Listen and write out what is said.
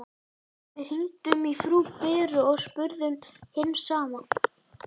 Við hringdum í frú Beru og spurðum hins sama.